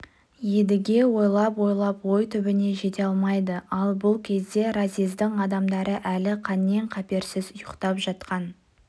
едіге ойлап-ойлап ой түбіне жете алмайды ал бұл кезде разъездің адамдары әлі қаннен-қаперсіз ұйықтап жатқан